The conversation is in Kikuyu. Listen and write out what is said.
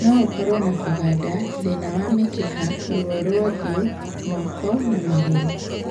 Nogũkorwo na kũganda, thĩna wa mĩkiha, ruo rwa ũthiũ, moko na magũrũ